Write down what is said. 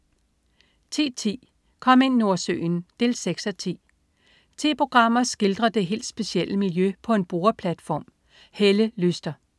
10.10 Kom ind Nordsøen 6:10. Ti programmer skildrer det helt specielle miljø på en boreplatform. Helle Lyster